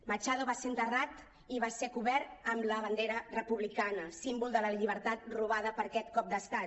machado va ser enterrat i va ser cobert amb la bandera republicana símbol de la llibertat robada per aquest cop d’estat